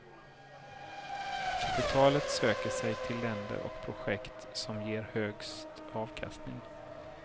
Kapitalet söker sig till länder och projekt som ger högst avkastning.